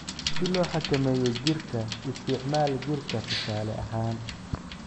"Si loo xakameeyo jiirka, isticmaal jiirka tusaale ahaan.